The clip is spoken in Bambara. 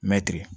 Mɛtiri